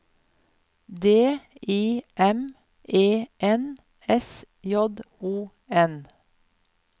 D I M E N S J O N